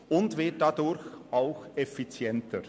Sie wird dadurch auch effizienter.